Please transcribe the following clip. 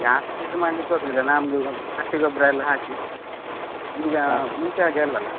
ಜಾಸ್ತಿ ಇದು ಮಾಡ್ಲಿಕೊಗ್ಲಿಲ್ಲ, ನಮ್ದು ಹಟ್ಟಿ ಗೊಬ್ರ ಎಲ್ಲ ಹಾಕಿ ಈಗ ಮುಂಚೆಹಾಗೆ ಅಲ್ಲಲ್ಲ.